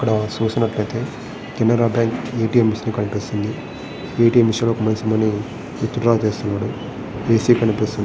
ఇక్కడ సూసినటయితే Canara bank ATM. Machine కనిపిస్తుంది ఎ.టి.ఎం. మెషిన్ దగ్గర ఒక మనిషి మనీ విత్డ్రా చేస్తున్నాడు ఏసీ కనిపిస్తుంది.